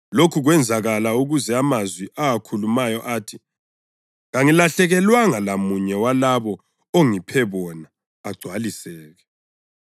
Lokhu kwenzakala ukuze amazwi awakhulumayo athi: “Kangilahlekelwanga lamunye walabo ongiphe bona agcwaliseke.” + 18.9 UJohane 6.39